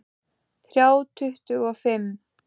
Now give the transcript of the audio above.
Þrjá tuttugu og fimm